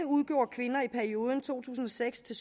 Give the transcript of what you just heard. udgjorde kvinder i perioden to tusind og seks til